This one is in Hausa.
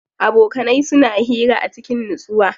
Abokanai suna hira a cikin nutsuwa.